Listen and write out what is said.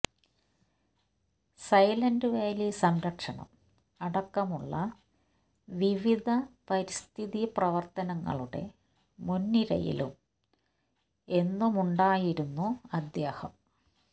silent Valley സംരക്ഷണം അടക്കമുള്ള വിവിധ പരിസ്ഥിതി പ്രവര്ത്തനങ്ങളുടെ മുന്നിരയിലും എന്നു മുണ്ടായിരുന്നു അദ്ദേഹം